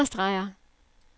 understreger